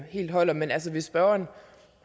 helt holder men hvis spørgeren